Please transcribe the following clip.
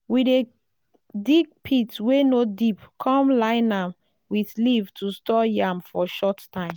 we dey dig pit wey no deep come line nam with leaf to store yam for short time.